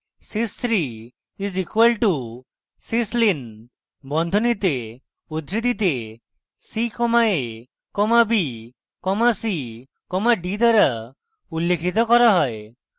sys 3 is equal to syslin বন্ধনীতে উদ্ধৃতিতে c comma a comma b comma c comma d দ্বারা উল্লিখিত করা হয়